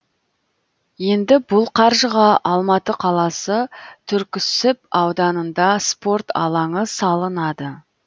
енді бұл қаржыға алматы қаласы түрксіб ауданында спорт алаңы салынады